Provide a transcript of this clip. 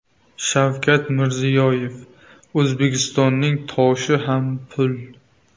Shavkat Mirziyoyev: O‘zbekistonning toshi ham pul!